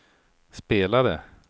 spelade